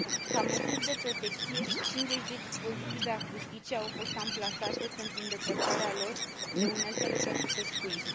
Ca măsuri de protecție, 50 de dispozitive acustice au fost amplasate pentru îndepărtarea lor de uneltele pentru pescuit.